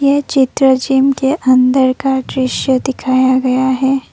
ये चित्र जिम के अंदर का दृश्य दिखाया गया है।